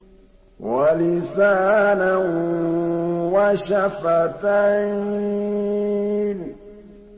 وَلِسَانًا وَشَفَتَيْنِ